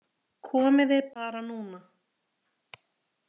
Komiði bara núna.